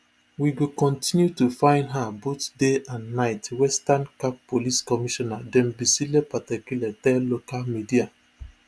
we go continue to find her both day and night western cape police commissioner thembisile patekile tell local media